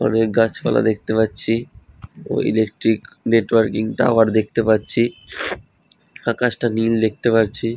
অনেক গাছপালা দেখতে পাচ্ছি ও ইলেকট্রিক নেটওয়ার্কিং টাওয়ার দেখতে পাচ্ছি আকাশটা নীল দেখতে পারছি।